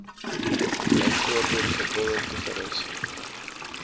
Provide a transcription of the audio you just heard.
byvoorbeeld geboue toerusting